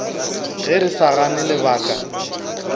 ge re sa gane lebaka